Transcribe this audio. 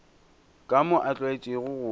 ka moo a tlwaetšego go